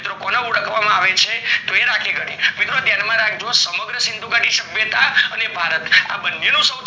મિત્રો કોને ઓળખવામાં આવે છે ઓ એ રાખી ગઢ મિત્રો યાદ રાખજો સમગ્ર સિંધુ ગાડી સભ્યતા હતા એને ભારત